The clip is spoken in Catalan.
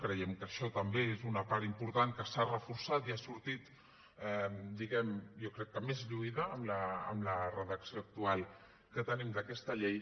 creiem que això també és una part important que s’ha reforçat i ha sortit diguem ne jo crec que més lluïda amb la redacció actual que tenim d’aquesta llei